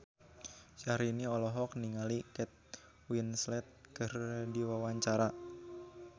Syahrini olohok ningali Kate Winslet keur diwawancara